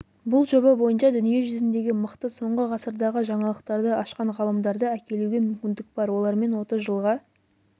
бұл жоба бойынша дүниежүзіндегі мықты соңғы ғасырдағы жаңалықтарды ашқан ғалымдарды әкелуге мүмкіндік бар олармен отыз жылға